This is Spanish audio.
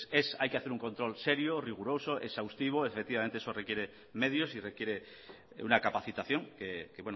hay que hacer un control serio riguroso exhaustivo efectivamente eso requiere medios y requiere una capacitación que